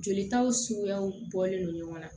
Jolitaw suguyaw bɔlen don ɲɔgɔn na